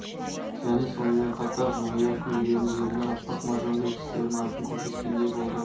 және сонымен қатар жымия күлген ерні аппақ маржандай тістерін айқын көрсеткендей болды